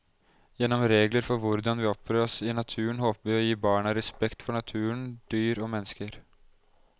Gjennom regler for hvordan vi oppfører oss i naturen håper vi å gi barna respekt for naturen, dyr og mennesker.